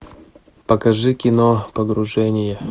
покажи кино погружение